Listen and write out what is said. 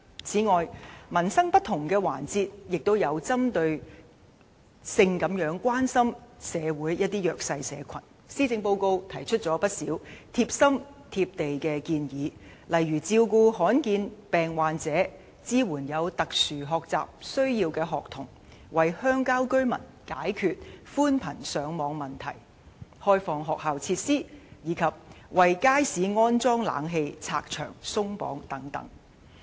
此外，針對民生的不同環節，施政報告亦關心社會上一些弱勢社群，提出了不少貼心、"貼地"的建議，例如照顧罕見病患者、支援有特殊學習需要的學童、為鄉郊居民解決寬頻上網問題、開放學校設施，以及為街市安裝冷氣的問題"拆牆鬆綁"。